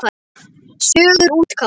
Sögur útgáfa.